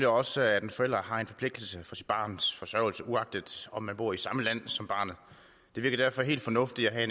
også at en forælder har en forpligtelse for sit barns forsørgelse uagtet om man bor i samme land som barnet det virker derfor helt fornuftigt at